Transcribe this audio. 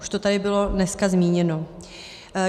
Už to tady bylo dneska zmíněno.